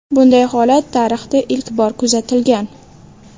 Bunday holat tarixda ilk bor kuzatilgan.